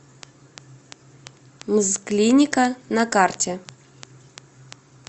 мзклиника на карте